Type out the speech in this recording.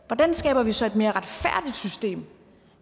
hvordan skaber vi så et mere retfærdigt system